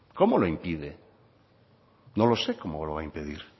cómo lo impide no lo sé cómo lo va a impedir